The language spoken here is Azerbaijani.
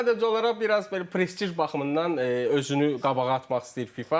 Sadəcə olaraq biraz belə prestij baxımından özünü qabağa atmaq istəyir FIFA.